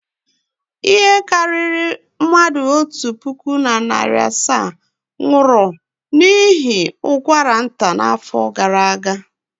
Ihe karịrị mmadụ otu puku na narị asaa nwụrụ n'ihi ụkwara nta n'afọ gara aga.